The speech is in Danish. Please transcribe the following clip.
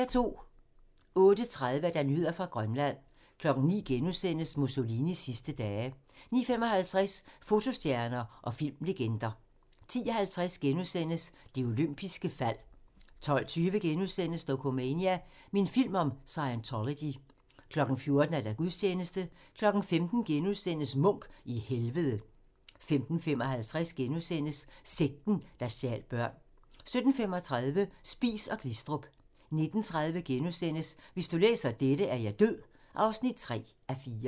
08:30: Nyheder fra Grønland 09:00: Mussolinis sidste dage * 09:55: Fotostjerner og filmlegender 10:50: Det olympiske fald * 12:20: Dokumania: Min film om Scientology * 14:00: Gudstjeneste 15:00: Munch i Helvede * 15:55: Sekten, der stjal børn * 17:35: Spies & Glistrup 19:30: Hvis du læser dette, er jeg død (3:4)*